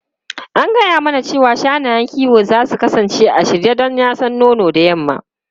An gaya mana cewa shanayen kiwo za su kasance a shirye don yasan nono da yamma.